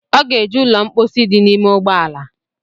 Ọ ga-eje ụlọ mkposi dị n’ime ụgbọala